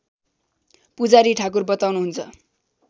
पुजारी ठाकुर बताउनुहुन्छ